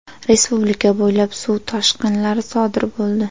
Respublika bo‘ylab suv toshqilari sodir bo‘ldi.